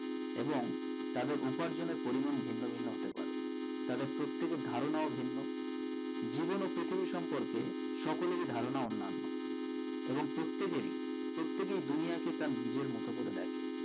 এবং তাদের উপার্জনের পরিমান ভিন্ন ভিন্ন হতে পারে তাদের প্রত্যেকের ধারণাও ভিন্ন জীবন ও প্রকৃতি সম্পর্কে সকলের ধারণা অন্যান এবং প্রত্যেকেরি প্রত্যেকেই দুনিয়াকে তার নিজের মতো করে দেখে